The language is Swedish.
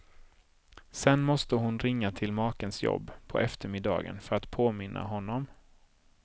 Sen måste hon ringa till makens jobb på eftermiddagen för att påminna honom.